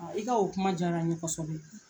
i ka o kuma diyara ɲe kɔsɔbɛ.